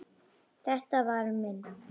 Þetta var minn.